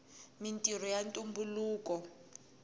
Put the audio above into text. mintrho ya tumbuluka